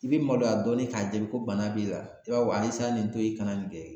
I bɛ maloya dɔɔnin k'a deli ko bana b'i la, i b'a fɔ ayi i bi se ka nin to yen, i kana nin kɛ